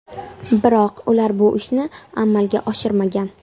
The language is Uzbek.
Biroq ular bu ishni amalga oshirmagan.